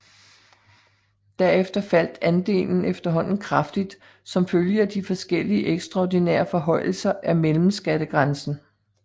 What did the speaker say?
Derefter faldt andelen efterhånden kraftigt som følge af de forskellige ekstraordinære forhøjelser af mellemskattegrænsen